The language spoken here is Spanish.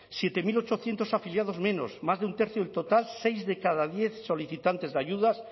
siete mil ochocientos afiliados menos más de un tercio del total seis de cada diez solicitantes de ayudas